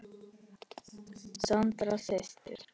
Sandra systir.